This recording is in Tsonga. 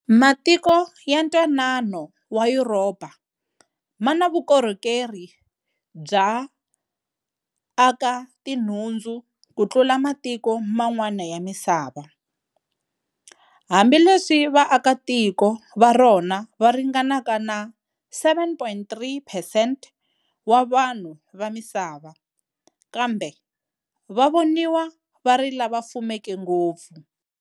Matiko ya ntwanano wa Yuropa mana vukorhokeri bya aka tinhundzu kutlula matiko man'wana ya misava. Hambileswi vaaka tiko va rona va ringanaka na 7.3 percent wa vanhu vamisava, kambe va voniwa vari lava fumeke ngopfu.